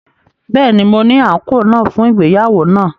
Bẹẹni, Mo ni anko naa fun ìgbéyàwó naa